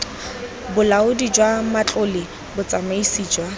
bolaodi jwa matlole botsamaisi jwa